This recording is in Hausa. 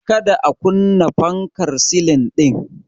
Ka da a kunna fankar silin din.